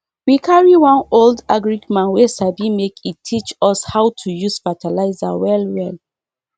we carry one old agric man wey sabi make en teach us how to use fertilizer well well